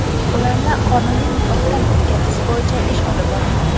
Ularni qonuniy nikohdan o‘tkazish bo‘yicha ish olib borilmoqda.